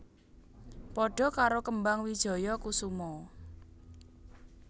Padha karo kembang wijaya kusuma